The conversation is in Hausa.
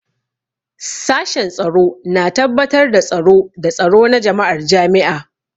Sashen Tsaro na tabbatar da tsaro da tsaro na jama'ar jami'a.